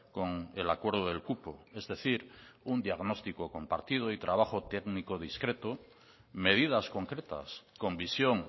con el acuerdo del cupo es decir un diagnóstico compartido y trabajo técnico discreto medidas concretas con visión